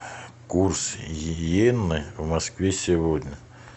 курс иены в москве сегодня